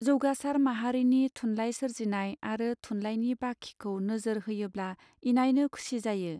जौगासर माहारिनि थुनलाइ सोरजिनाय आरो थुनलायनि बाखिखौ नोजोर होयोब्ला इनायनो खुसि जायो.